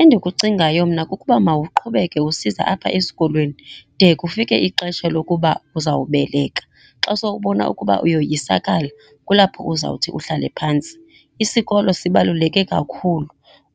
Endikucingayo mna kukuba mawuqhubeke usiza apha esikolweni, de kufike ixesha lokuba uzawubeleka. Xa sowubona ukuba uyoyisakala, kulapho uzawuthi uhlale phantsi. Isikolo sibaluleke kakhulu